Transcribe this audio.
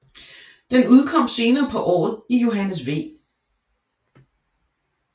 Den udkom senere på året i Johannes V